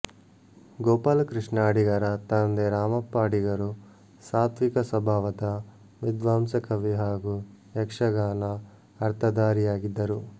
ಗೋಪಾಲಕೃಷ್ಣ ಅಡಿಗರ ತಂದೆ ರಾಮಪ್ಪ ಅಡಿಗರು ಸಾತ್ವಿಕ ಸ್ವಭಾವದ ವಿದ್ವಾಂಸ ಕವಿ ಹಾಗೂ ಯಕ್ಶಗಾನ ಅರ್ಥಧಾರಿಯಾಗಿದ್ದರು